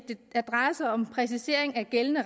det drejer sig om en præcisering af gældende